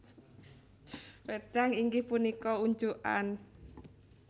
Wédang inggih punika unjukan